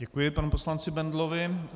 Děkuji panu poslanci Bendlovi.